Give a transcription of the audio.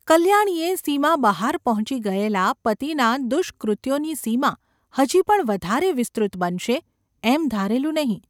’ કલ્યાણીએ સીમા બહાર પહોંચી ગયેલા પતિનાં દુષ્કૃત્યોની સીમા હજી પણ વધારે વિસ્તૃત બનશે એમ ધારેલું નહિ.